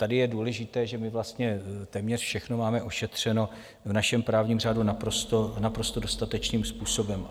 Tady je důležité, že my vlastně téměř všechno máme ošetřeno v našem právním řádu naprosto dostatečným způsobem.